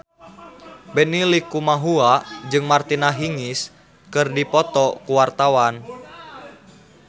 Benny Likumahua jeung Martina Hingis keur dipoto ku wartawan